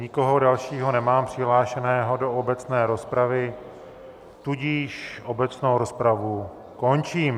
Nikoho dalšího nemám přihlášeného do obecné rozpravy, tudíž obecnou rozpravu končím.